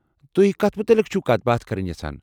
تُہۍ کتھ متعلق چھوٕ کتھ باتھ کرٕنۍ یژھان؟